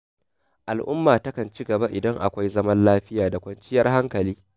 Al'umma takan ci gaba idan akwai zaman lafiya da kwanciyar hankali.